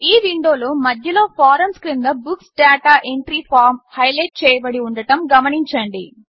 ఈ విండోలో మధ్యలో ఫారమ్స్ క్రింద books data entry form highlight చేయబడి ఉండడం గమనించండి